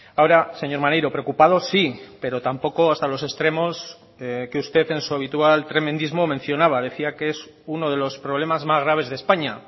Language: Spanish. ahora señor maneiro preocupado sí pero tampoco hasta los extremos que usted en su habitual tremendismo mencionaba decía que es uno de los problemas más graves de españa